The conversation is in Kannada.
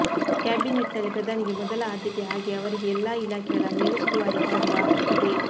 ಕ್ಯಾಬಿನೆಟ್ನಲ್ಲಿ ಪ್ರಧಾನಿಗೆ ಮೊದಲ ಆದ್ಯತೆ ಹಾಗೇ ಅವರಿಗೆ ಎಲ್ಲ ಇಲಾಖೆಗಳ ಮೇಲುಸ್ತುವಾರಿ ಮಾಡುವ ಹಕ್ಕಿದೆ